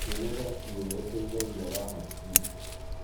Kwĩnogora cĩĩega gũteĩthagĩa wa hakĩrĩ